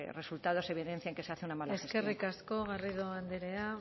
resultados evidencian que se hace una mala gestión eskerrik asko garrido andrea